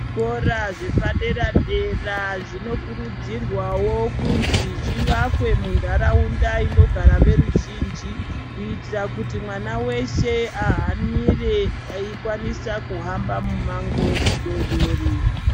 Zvikora zvepadera-dera zvinokurudzirwawo kunzi zvivakwe muntaraunda inogara veruzhinji kuitira kuti mwana weshe ahanire eikwanisa kuhamba mumango mudoodori.